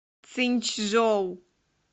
цинчжоу